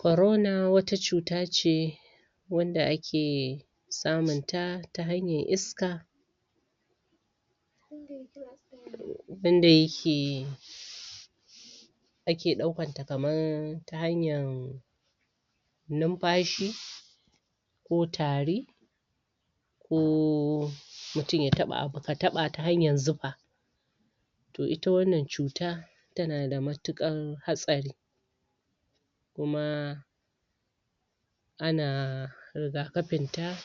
Corona wata cuta ce wanda ake samun ta, ta hanyar iska wanda yake ake ɗaukar ta kaman ta hanyan numfashi ko tari ummm mutun ya taɓa abu, ka taɓa ta hanyan zufa to ita wannan cuta tana da matuƙan hatsari kuma ana rigakafin ta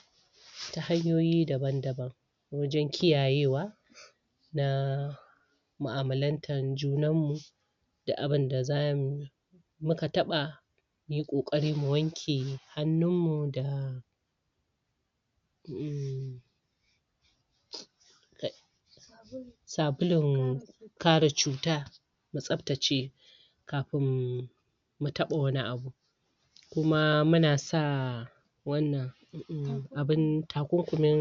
ta hanyoyi daban-daban wajen kiyaye wa na mu'amalantan junan mu da abinda zamu yi muka taɓa mu yi ƙoƙari mu wanke hannun mu umm sabulun kare cuta tsabtace kafin mu taɓa wani abu kuma muna sa wannan abin takunkumin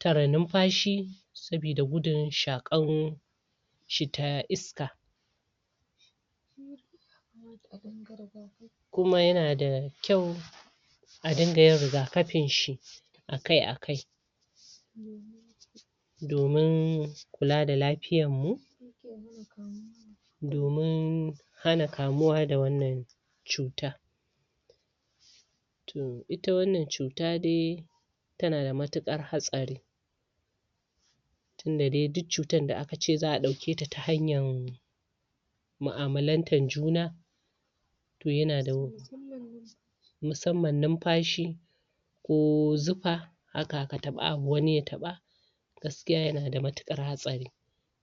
tare numfashi sabida gudun shaƙan shi ta iska kuma yana da kyau a dinga yin rigakafin shi akai-akai domin kula da lafiyan mu domin hana kamuwa da wannan cuta umm, ita wannan cuta dai tana da matuƙar hatsari tunda dai duk cutan da aka ce za'a ɗauke ta ta hanyan mu'amalantan juna to yana da musamman numfashi ko zufa haka, ka taɓa abu wani ya taɓa gaskiya yana da matuƙar hatsari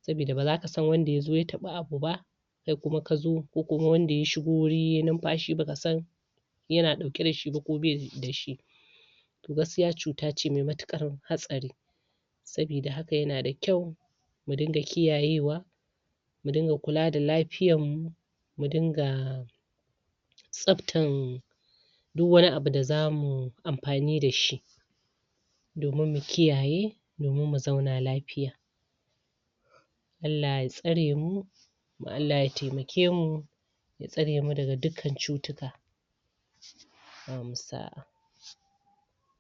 sabida ba zaka san wanda ya zo ya taɓa abu ba kai kuma ka zo ko kuma wanda ya shigo wuri yai numfashi baka san yana ɗauke da shi ba ko bai da shi to gaskiya cuta ce me matuƙar hatsari sabida haka yana da kyau mu dinga kiyayewa mu dinga kula da lafiyan mu mu dinga tsabtan duk wani abu da zamu amfani da shi domin mu kiyaye domin mu zauna lafiya Allah ya tsare mu Allah ya taimake mu tsare mu daga dukkan cutuka bamu sa'a.